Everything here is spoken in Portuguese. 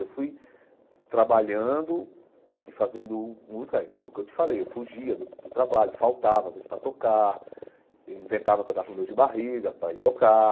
Eu fui trabalhando e fazendo música, aí como que eu te falei, eu fugia do do trabalho, faltava às vezes para tocar, inventava que eu estava com dor de barriga para ir tocar,